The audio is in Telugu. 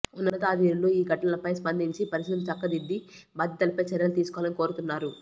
ఉన్నతాధిరులు ఈ ఘటనలపై స్పందించి పరిస్థితులు చక్కదిద్ది బాధ్యులపై చర్యలు తీసుకోవాలని కోరుతున్నారు